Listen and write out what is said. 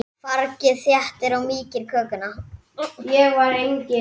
Fargið þéttir og mýkir kökuna.